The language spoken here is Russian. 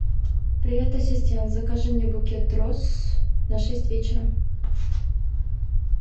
привет ассистент закажи мне букет роз на шесть вечера